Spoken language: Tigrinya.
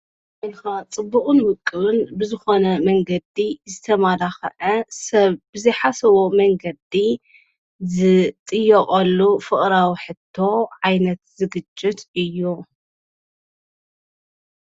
በልካ ጽቡቕን ውቅብን ብዝኾነ መንገዲ ዝተማላኸዐ ሰብ ብዚኃሰቦ መንገዲ ዝጥየቖሉ ፍቕረዊ ሕቶ ዓይነት ዝግጅት እዩ።